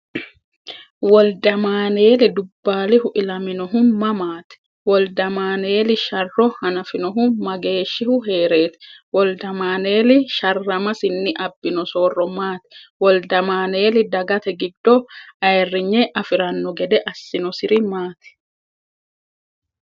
Woldamaaneeli Dubbaalihu ilaminohu mamaati? Woldamaaneeli sharro hanafinohu mageeshshihu hee’reeti? Woldamaaneeli sharramasinni abbino soorro maati? Woldamaaneeli dagate giddo ayirrinye afi’ranno gede assinosiri maati?